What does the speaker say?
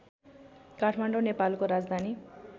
काठमाडौ नेपालको राजधानी